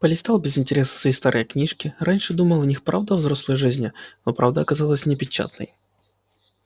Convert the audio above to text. полистал без интереса свои старые книжки раньше думал в них правда о взрослой жизни но правда оказалась непечатной